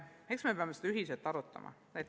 Eks me peame seda ühiselt arutama.